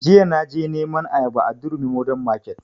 Jiya na je neman ayaba a durumi modern market